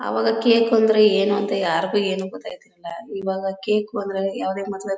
ಅವಾಗ ಕೇಕು ಅಂದ್ರೆ ಏನು ಅಂತ ಯಾರಿಗೂ ಏನೂ ಗೊತ್ತಾಗ್ತಾ ಇರ್ಲಿಲ್ಲ ಇವಾಗ ಕೇಕು ಅಂದ್ರೆ ಯಾವುದೇ ಮದುವೆ.